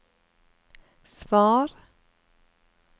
svar